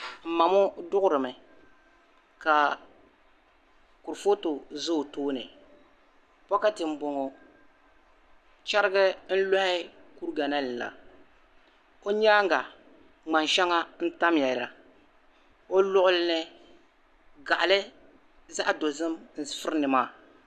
m ma ŋɔ duɣirimi kaa kurifootu za o tooni bokati m boŋɔ cheriga n lɔhi kuriga la ni la o nyaaga ŋmani ahɛŋa n tamya la o luɣuli ni gaɣali zaɣi dozim n furi ni maa